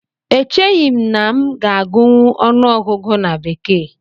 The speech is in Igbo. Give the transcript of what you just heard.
Echeghị m na m ga-agụnwu ọnụọgụgụ na bekee